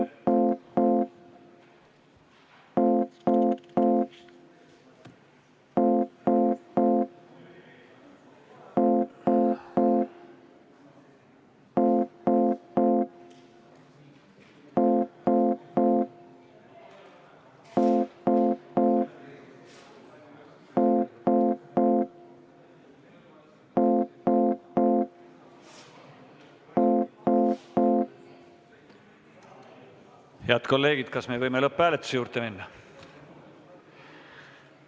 Head kolleegid, kas me võime lõpphääletuse juurde minna?